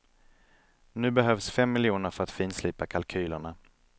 Nu behövs fem miljoner för att finslipa kalkylerna.